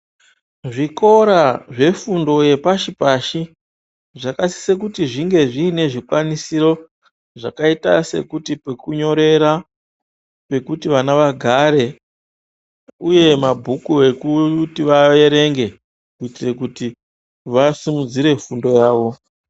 Zvikora zvefundo yepashi pashi zvakasise kuti zvinge zviine zvikwanisiro zvakaite sekuti pekunyorera, pekuti vana vagare uye mabhuku ekuti vaverenge kuitire kuti vasimudzire fundo yavo.